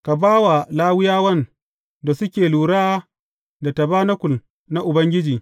Ka ba wa Lawiyawan da suke lura da tabanakul na Ubangiji.